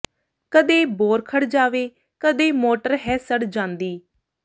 ਕਦੇ ਬੋਰ ਖੜ੍ਹ ਜਾਵੇ ਕਦੇ ਮੋਟਰ ਹੈ ਸੜ ਜਾਂਦੀ